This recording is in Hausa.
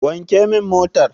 Wanke min motar.